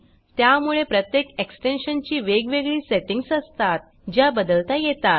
त्यामुळे प्रत्येक एक्सटेन्शन ची वेगवेगळी सेटींग्ज असतात ज्या बदलता येतात